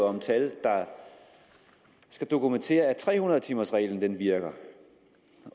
om tal der skal dokumentere at tre hundrede timers reglen virker